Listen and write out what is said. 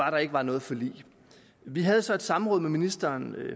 at der ikke var noget forlig vi havde så et samråd med ministeren